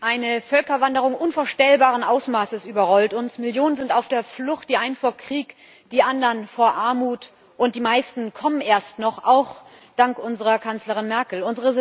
Eine Völkerwanderung unvorstellbaren Ausmaßes überrollt uns, Millionen sind auf der Flucht, die einen vor Krieg, die anderen vor Armut, und die meisten kommen erst noch, auch dank unserer Kanzlerin Merkel.